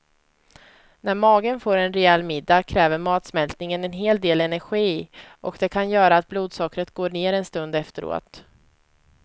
När magen får en rejäl middag kräver matsmältningen en hel del energi och det kan göra att blodsockret går ner en stund efteråt.